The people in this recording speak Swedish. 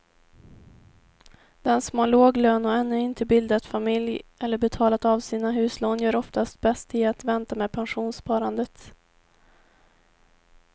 Den som har låg lön och ännu inte bildat familj eller betalat av sina huslån gör oftast bäst i att vänta med pensionssparandet.